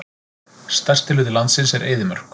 Stærsti hluti landsins er eyðimörk.